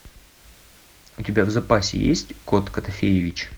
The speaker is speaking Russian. у тебя в запасе есть кот котофеевич